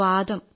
വാതം